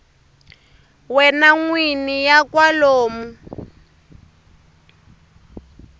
wena n wini ya kwalomu